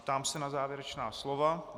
Ptám se na závěrečná slova.